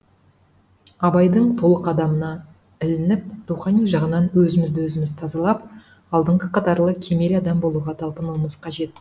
абайдың толық адамына ілініп рухани жағынан өзімізді өзіміз тазалап алдыңғы қатарлы кемел адам болуға талпынуымыз қажет